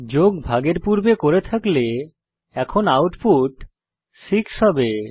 যোগ ভাগের পূর্বে করে থাকলে এখন আউটপুট 6 হবে